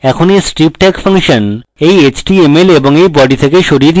এখন body strip tag function body html এবং body body থেকে সরিয়ে দিতে হবে